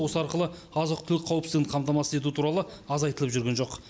осы арқылы азық түлік қауіпсіздігін қамтамасыз ету туралы аз айтылып жүрген жоқ